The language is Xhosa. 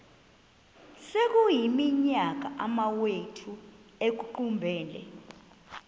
sekuyiminyaka amawenu ekuqumbele